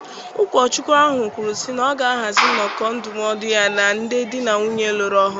Ụkọchukwu ahụ kwuru sị na ọ ga ahazi nnoko ndụmọdụ ya na ndị dị na nwunye lụrụ ọhụrụ